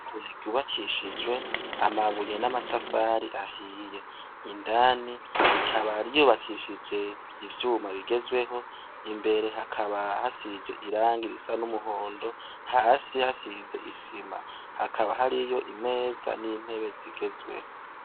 Ishure ryubakishijwe amabuye n'amatafari ahiye. Indani rikaba ryubakishije ivyuma bigezweho imbere hakaba hasize irangi risa n'umuhondo ry'ama hakaba hasize isima. Hakabahariyo imeza n'intebe zigezweho.